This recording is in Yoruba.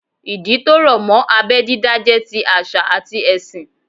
Ìdí tó rọ̀ mọ́ abẹ́ dídá jẹ́ ti àṣà àti ẹ̀sìn